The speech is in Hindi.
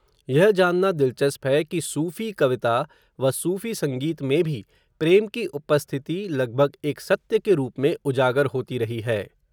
यह जानना, दिलचस्प है कि, सूफ़ी कविता, व सूफ़ी संगीत में भी, प्रेम की उपस्थिति लगभग, एक सत्य के रूप में, उजागर होती रही है